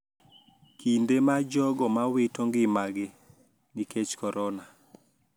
Kinde ma jogo ma wito ngimagi nikech korona,